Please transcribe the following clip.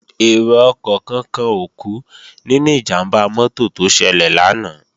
Èrò ọkọ̀ kankan ò kú nínú ìjàmbá mọ́tò tó ṣẹlẹ̀ lánàá